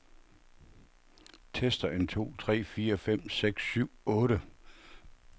Tester en to tre fire fem seks syv otte.